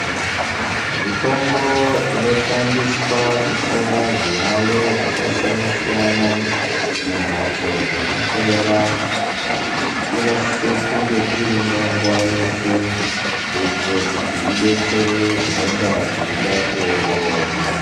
Mitombo inoshandiswa kuhloya zviyaiyo zvakasiyana-siyana mumhatso dzekuhloyera, inosise kunge irimo nguva yeshe kuitira kuti idetsere zvinonga zveida kuongororwa.